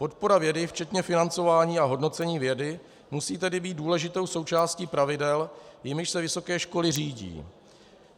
Podpora vědy včetně financování a hodnocení vědy musí tedy být důležitou součástí pravidel, jimiž se vysoké školy řídí.